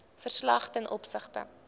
verslag ten opsigte